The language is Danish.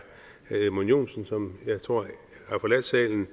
edmund joensen som jeg tror har forladt salen